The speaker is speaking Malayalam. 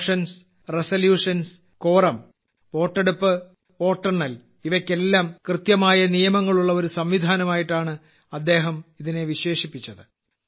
മോഷൻസ് റെസല്യൂഷൻസ് ക്യൂറം വോട്ടെടുപ്പ് വോട്ടെണ്ണൽ ഇവയ്ക്കെല്ലാം കൃത്യമായ നിയമങ്ങൾ ഉള്ള ഒരു സംവിധാനമായാണ് അദ്ദേഹം ഇതിനെ വിശേഷിപ്പിച്ചത്